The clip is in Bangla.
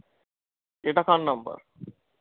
এটা কার number